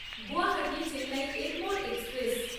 Guwahati Chennai Egmore express